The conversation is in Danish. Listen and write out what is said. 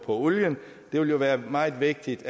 olien det vil være meget vigtigt